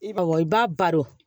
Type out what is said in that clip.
I ba i b'a baro